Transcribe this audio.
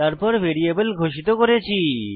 তারপর ভ্যারিয়েবল ঘোষিত করি